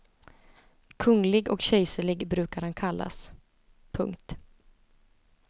Kunglig och kejserlig brukar han kallas. punkt